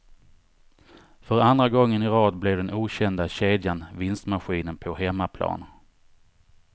För andra gången i rad blev den okända kedjan vinstmaskinen på hemmaplan.